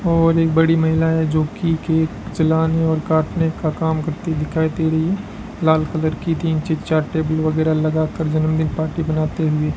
और एक बड़ी महिला है जोकि केक जलाने और काटने का काम करती दिखाई दे रही है लाल कलर की तीन चार से टेबल वगेरा लगाकर जन्मदिन पार्टी मनाते हुए --